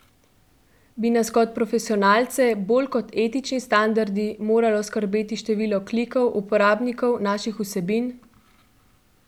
Bi nas kot profesionalce bolj kot etični standardi moralo skrbeti število klikov uporabnikov naših vsebin?